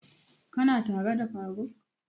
Ka na tare da faruk?